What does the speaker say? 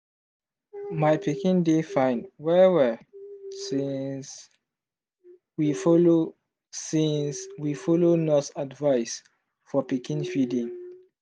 my pikin dey fine well-well since we follow since we follow nurse advice for pikin feeding.